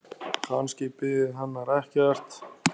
Kannski biði hennar ekkert.